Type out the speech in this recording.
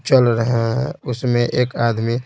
चल रहे हैं उसमें एक आदमी--